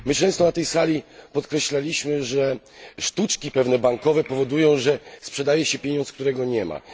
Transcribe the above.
Często na tej sali podkreślaliśmy, że pewne sztuczki bankowe powodują, że sprzedaje się pieniądz, którego nie ma.